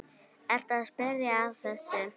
Ertu að spyrja að þessu?